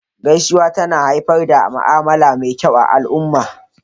Gaisuwa tana haifar da ma'amala me kyau a al'umma